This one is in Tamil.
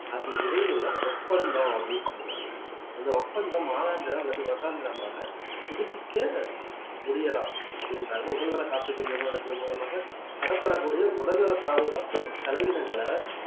அதற்கு இடையிலுள்ள ஒப்பந்தம் அப்படின்னு சொல்லுவாங்க அந்த ஒப்பந்தம் மாதாந்திரம் அல்லது வருடாந்திரமாக புதுப்பிக்க முடியலாம் அப்படின்றாங்க உடல்நல காப்பீட்டு நிறுவனத்தின் மூலமாக தரப்படக்கூடிய உடல்நல பாதுகாப்பு செலவினங்களை